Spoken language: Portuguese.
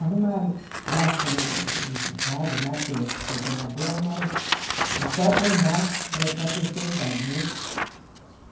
Arrumaram lá com o o padre, lá que é coordenador, arrumaram o quarto andar é para a terceira idade, né?